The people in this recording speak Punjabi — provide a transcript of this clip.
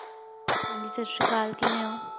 ਹਾਂਜੀ ਸਤਿ ਸ੍ਰੀ ਅਕਾਲ ਕਿਵੇ ਹੋ